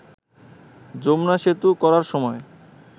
যমুনা সেতু করার সময়